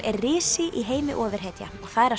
er risi í heimi ofurhetja og það er að